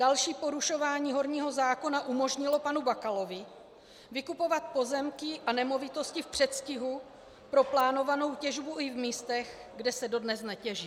Další porušování horního zákona umožnilo panu Bakalovi vykupovat pozemky a nemovitosti v předstihu pro plánovanou těžbu i v místech, kde se dodnes netěží.